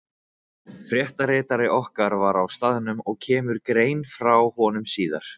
Fréttaritari okkar var á staðnum og kemur grein frá honum síðar.